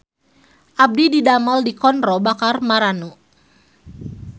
Abdi didamel di Konro Bakar Marannu